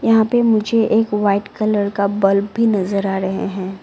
यहां पे मुझे एक वाइट कलर का बल्ब भी नजर आ रहे हैं।